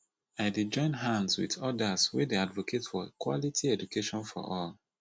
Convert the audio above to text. i dey join hands wit odas wey dey advocate for quality education for all